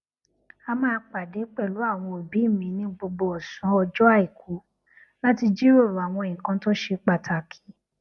a máa pàdé pẹlu àwọn òbí mi ní gbogbo òsán ọjọ aiku láti jiròrò àwọn nnkan tó ṣe pàtàkì